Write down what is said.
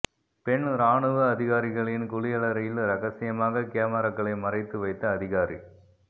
பெண் இராணுவ அதிகாரிகளின் குளியலறையில் ரகசியமாக கெமராக்களை மறைத்து வைத்த அதிகாரி